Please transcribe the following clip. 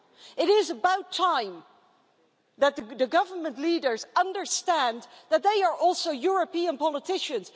It is about time that the government leaders understood that they are also European politicians